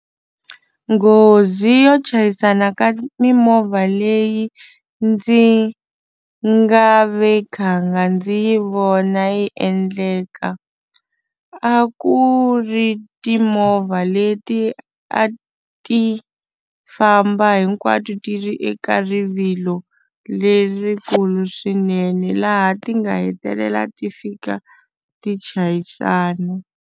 Nghozi yo chayisana ka mimovha leyi ndzi nga ve khanga ndzi yi vona yi endleka a ku ri timovha leti a ti famba hinkwato ti ri eka rivilo lerikulu swinene laha ti nga hetelela ti fika ti chayisana.